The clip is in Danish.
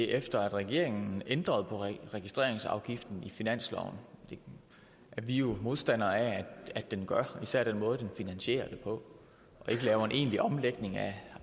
efter at regeringen ændrede på registreringsafgiften i finansloven hvad vi jo var modstandere af at den gjorde især den måde den finansierede det på ikke lavede en egentlig omlægning af